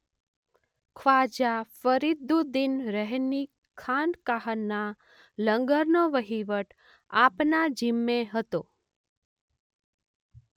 ખ્વાજા ફરીદુદ્દીન રહની ખાનકાહના લંગરનો વહીવટ આપના જિમ્મે હતો.